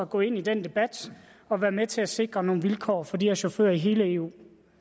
gå ind i den debat og være med til at sikre nogle bedre vilkår for de her chauffører i hele eu